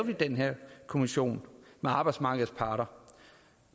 vi den her kommission med arbejdsmarkedets parter